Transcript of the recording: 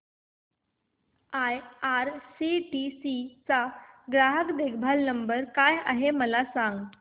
IRCTC चा ग्राहक देखभाल नंबर काय आहे मला सांग